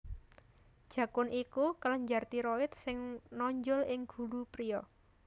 Jakun iku kelenjar tiroid sing nonjol ing gulu priya